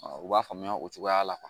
u b'a faamuya o cogoya la